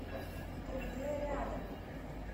тридэ рядом